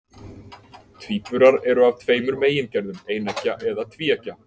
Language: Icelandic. Tvíburar eru af tveimur megingerðum, eineggja eða tvíeggja.